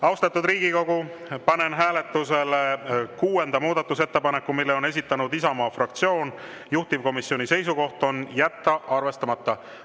Austatud Riigikogu, panen hääletusele kuuenda muudatusettepaneku, mille on esitanud Isamaa fraktsioon, juhtivkomisjoni seisukoht on jätta arvestamata.